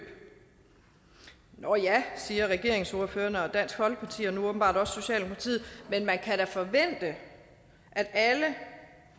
nå ja siger regeringspartiordførerne og dansk folkeparti og nu åbenbart også socialdemokratiet men man kan da forvente at alle